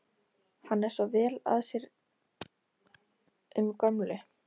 Hann er svo vel að sér um gömlu